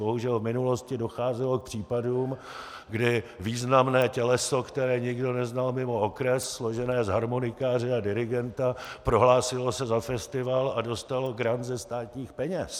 Bohužel v minulosti docházelo k případům, kdy významné těleso, které nikdo neznal mimo okres, složené z harmonikáře a dirigenta, prohlásilo se za festival a dostalo grant ze státních peněz.